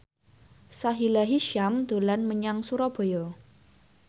Sahila Hisyam dolan menyang Surabaya